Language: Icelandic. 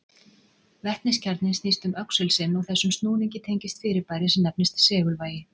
Vetniskjarninn snýst um öxul sinn og þessum snúningi tengist fyrirbæri sem nefnist segulvægi.